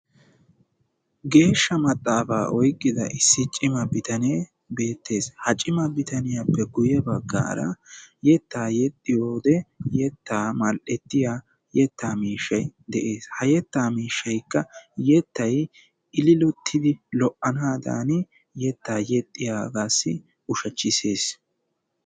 Geeshsha maxaafaa oyqqida issi cima bitanee beettes. Ha cima bitaniyappe guyye baggaara yettaa yexxiyode yettaa mall"ettiya yettaa miishshayi de"es. Ha yettaa miishshaykka yettayi ililottidi lo"anaadaani yettaa yexxiyagaassi ushachchisses.